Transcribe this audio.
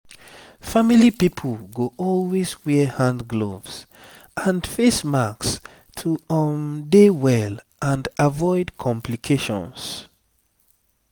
family pipo go always wear hand gloves and face masks to um dey well and avoid complications